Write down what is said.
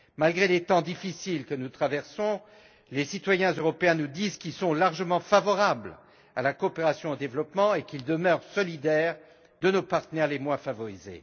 Malgré les temps difficiles que nous traversons, les citoyens européens nous disent qu'ils sont largement favorables à la coopération au développement et qu'ils demeurent solidaires de nos partenaires les moins favorisés.